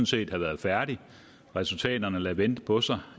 set have været færdig resultaterne lader vente på sig